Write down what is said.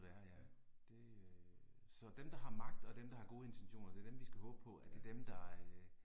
Ja. Ja